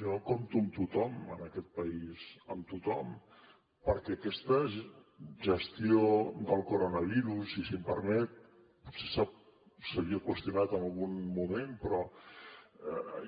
jo compto amb tothom en aquest país amb tothom perquè aquesta gestió del coronavirus i si em permet potser s’havia qüestionat en algun moment però